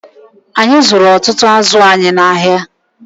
Anyị zụrụ ọtụtụ azụ anyị n'ahịa